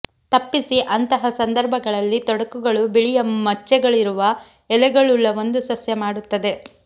ತಪ್ಪಿಸಿ ಅಂತಹ ಸಂದರ್ಭಗಳಲ್ಲಿ ತೊಡಕುಗಳು ಬಿಳಿಯ ಮಚ್ಚೆಗಳಿರುವ ಎಲೆಗಳುಳ್ಳ ಒಂದು ಸಸ್ಯ ಮಾಡುತ್ತದೆ